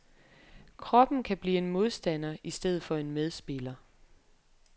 Kroppen kan blive en modstander i stedet for en medspiller.